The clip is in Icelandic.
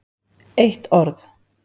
eitt orð!